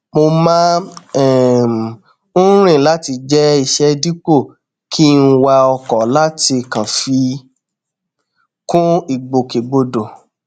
mo má um n rìn láti jẹ iṣẹ dípò kí n wa ọkọ láti kàn fi kún ìgbòkegbodò